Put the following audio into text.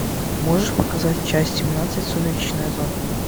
можешь показать часть семнадцать сумеречная зона